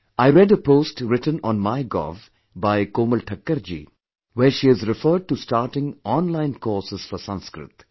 I read a post written on MyGov by Komal Thakkar ji, where she has referred to starting online courses for Sanskrit